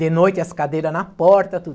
De noite, as cadeira na porta, tudo.